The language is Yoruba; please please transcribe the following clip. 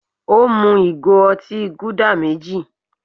Ó mú ìgò otí Gúdà méjì.